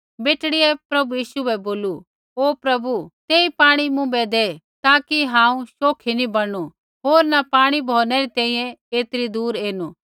बेटड़ियै प्रभु यीशु बै बोलू ओ प्रभु तेई पाणी मुँभै दै ताकि हांऊँ शोखि नी बणनु होर न पाणी भौरनै री तैंईंयैं ऐतरी दूर ऐनु